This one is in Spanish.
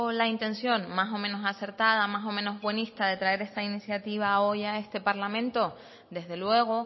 la intención más o menos acertada más o menos buenista de traer esta iniciativa hoy a este parlamento desde luego